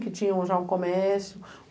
Que tinha já um comércio.